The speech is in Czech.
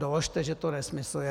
Doložte, že to nesmysl je.